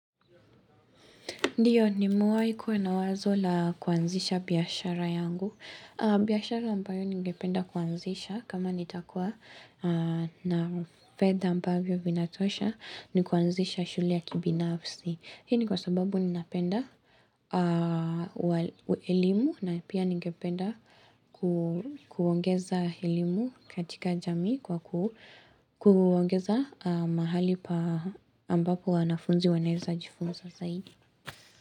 Ndio, nimewahi kuwa na wazo la kuanzisha biashara yangu. Biashara ambayo ningependa kuanzisha kama nitakuwa na fedha ambayo vinatosha ni kuanzisha shule ya kibinafsi. Hii ni kwa sababu ninapenda elimu na pia ningependa kuongeza elimu katika jamii kwa kuongeza mahali pa ambapo wanafunzi wanaweza jifunza zaidi.